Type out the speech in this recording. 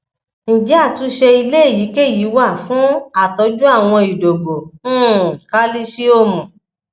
ǹjẹ atunse ile eyikeyi wa fun atoju awon idogo um kalisiomu